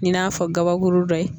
I n'a fɔ gabakuru dɔ ye.